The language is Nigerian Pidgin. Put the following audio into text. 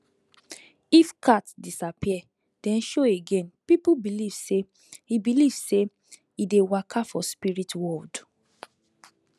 if cat disappear then show again people believe say e believe say e dey waka for spirit world